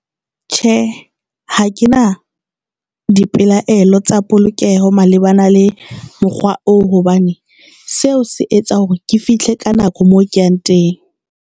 Tjhe, ha ke na dipelaelo tsa polokeho malebana le mokgwa oo hobane seo se etsa hore ke fihle ka nako mo ke yang teng.